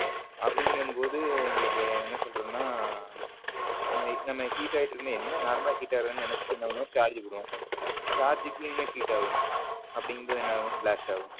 அப்படிங்கும் போது உங்களுக்கு என்ன சொல்றதுன்னா நம்ம heat ஆயிட்டு இருக்குன்னா என் normal ல heat ஆகுரதுன் நினைச்சுட்டு நம்ம charge போடுவோம் charge க்கு இன்னும் heat ஆகும் அப்பிடிங்கும் பொது என்ன ஆகும் blast ஆகும் பிளாஸ்ட் ஆகும்.